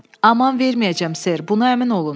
Aman verməyəcəm ser, buna əmin olun.